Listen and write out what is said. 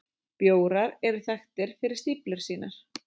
Bjórar eru þekktir fyrir stíflur sínar.